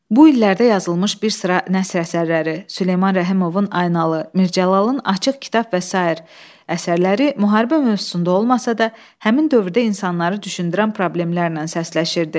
Bu illərdə yazılmış bir sıra nəsr əsərləri: Süleyman Rəhimovun “Aynalı”, Mir Cəlalın “Açıq Kitab” və sair əsərləri müharibə mövzusunda olmasa da, həmin dövrdə insanları düşündürən problemlərlə səsləşirdi.